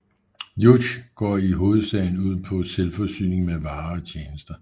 Juche går i hovedsagen ud på selvforsyning med varer og tjenester